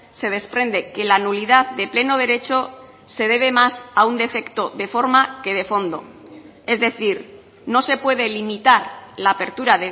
se desprende que la nulidad de pleno derecho se debe más a un defecto de forma que de fondo es decir no se puede limitar la apertura